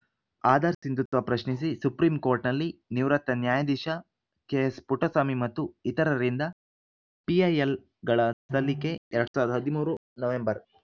ಆಧಾರ್‌ ಸಿಂಧುತ್ವ ಪ್ರಶ್ನಿಸಿ ಸುಪ್ರೀಂಕೋರ್ಟ್‌ನಲ್ಲಿ ನಿವೃತ್ತ ನ್ಯಾಯಧೀಶ ಕೆಎಸ್‌ ಪುಟ್ಟಸ್ವಾಮಿ ಮತ್ತು ಇತರರಿಂದ ಪಿಐಎಲ್‌ಗಳ ಸಲ್ಲಿಕೆ ಎರಡ್ ಸಾವಿರದ ಹದಿಮೂರು ನವೆಂಬರ್‌